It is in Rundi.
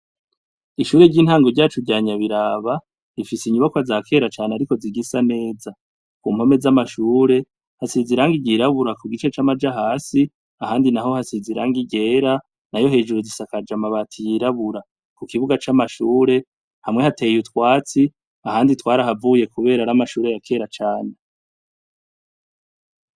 Ishure ry'intango ryacu ryanya biraba rifise inyubakwa za kera cane, ariko zigisa neza ku mpome z'amashure hasiza iranga igirabura ku gice c'amaja hasi ahandi na ho hasiz iranga ryera na yo hejuru zisakaja amabati yirabura ku kibuga c'amashure hamwe hateye itwatsi ahandi twari havuye, kubera rae mashure yakera cane.